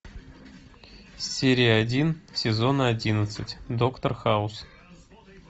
серия один сезон одиннадцать доктор хаус